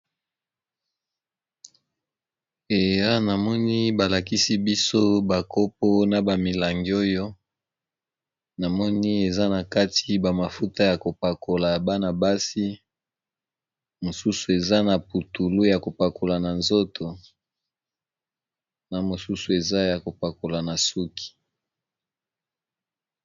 Awa namoni balakisi biso ba kopo na ba milangi oyo, namoni eza na kati ba mafuta ya kopakola bana-basi, mosusu eza na putulu ya kopakola na nzoto, na mosusu eza ya kopakola na suki.